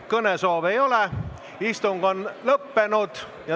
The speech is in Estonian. Kõnesoove ei ole, istung on lõppenud.